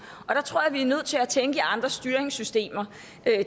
og der tror jeg vi er nødt til at tænke i andre styringssystemer